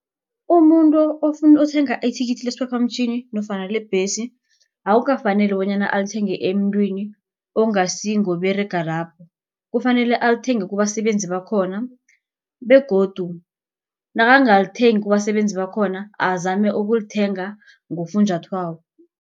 Umuntu ofuna ukuthenga ithikithi lesiphaphamtjhini nofana lebhesi. Akukafaneli bonyana alithenge emntwini ongasi ngoberaga lapho. Kufanele alithenge kubasebenzi bakhona begodu nakangalithengi kubasebenzi bakhona azame ukulithenga ngofunjathwako.